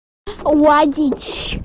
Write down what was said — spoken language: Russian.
водить